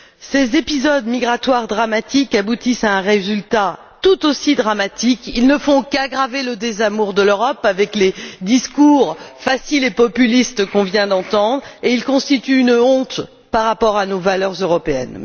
Ces épisodes migratoires dramatiques aboutissent à un résultat tout aussi dramatique. Ils ne font qu'aggraver le désamour de l'Europe avec les discours faciles et populistes que nous venons d'entendre et ils constituent une honte par rapport à nos valeurs européennes.